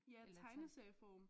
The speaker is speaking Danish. Eller